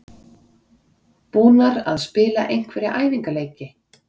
Búnar að spila einhverja æfingaleiki?